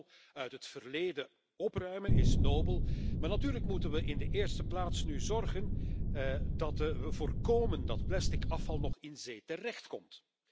De rommel uit het verleden opruimen is nobel, maar natuurlijk moeten we er in de eerste plaats voor zorgen dat we voorkomen dat plastic afval in zee terechtkomt.